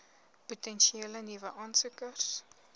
potensiële nuwe aansoekers